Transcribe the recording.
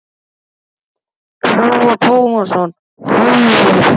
Telma Tómasson: Heimir?